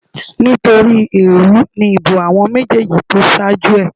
Nítorí èèrú ni ìbò àwọn méjèèjì tó ṣáájú ẹ̀